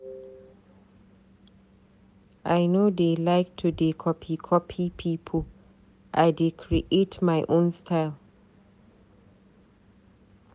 I no dey like to dey copy copy pipu, I dey create my own style.